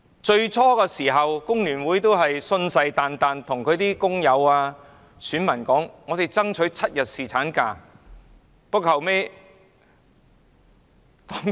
最初，工聯會信誓旦旦地表示，會替工友選民爭取7天侍產假。